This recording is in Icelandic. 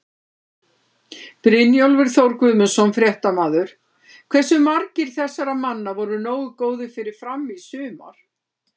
Brynjólfur Þór Guðmundsson, fréttamaður: Hversu margir þessara manna voru nógu góðir fyrir Fram í sumar?